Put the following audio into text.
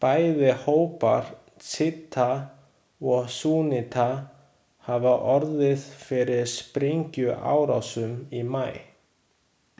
Bæði hópar sjíta og súnníta hafa orðið fyrir sprengjuárásum í maí.